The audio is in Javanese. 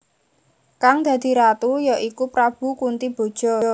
Kang dadi Ratu ya iku Prabu Kuntiboja